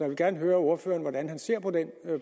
vil gerne høre ordføreren hvordan han ser på den